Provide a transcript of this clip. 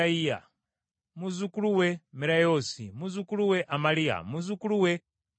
muzzukulu we Merayoosi, muzzukulu we Amaliya, muzzukulu we Akitubu,